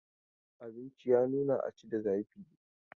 Abinci ya nuna a ci da zafi.